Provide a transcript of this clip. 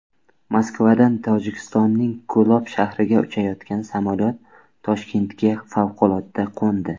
Moskvadan Tojikistonning Ko‘lob shahriga uchayotgan samolyot Toshkentga favqulodda qo‘ndi.